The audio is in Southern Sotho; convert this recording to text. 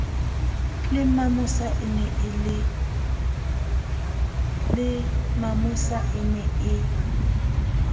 le mamosa e ne e